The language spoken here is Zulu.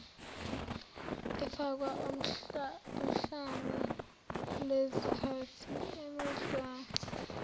efakwa ohlwni lweziphathimandla